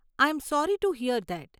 I am sorry to hear that.